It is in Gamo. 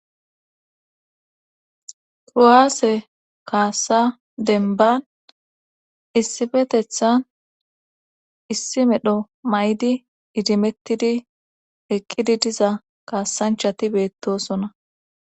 Kuwasa kasa denban issifetethan issi medho may7di idimettidi eqqidi diza kaasan